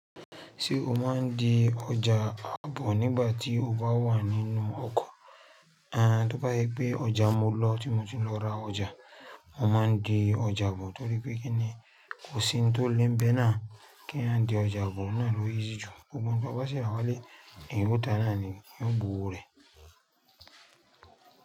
Ṣé o máa ń di ọjà àbọ̀ nígbà tí o bá wà nínú ọkọ̀? Àń, tó bá yí pé ọjà mo lọ, tí mo ti lọ ra ọjà, mo máa ń di ọjà bọ̀ torí pé kí ni kò sí ohun tó le bẹ́ náà kí eyan di ọjà bọ̀, ó náà ló easy jù. Gbogbo àwọn tí wọ́n bá ṣe àwọn ẹlẹ́rìí, ẹ̀yán o tan náà ni o, yi ó gbowó rẹ̀.